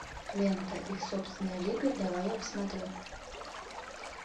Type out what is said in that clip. лента их собственная лига давай я посмотрю